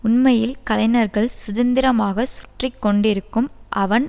உண்மையில் கலைஞர்கள் சுதந்திரமாக சுற்றி கொண்டிருக்கும் அவன்